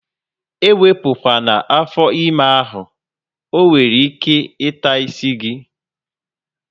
Ewepu kwana afọ ime ahụ! ọ nwere ike taa isi gị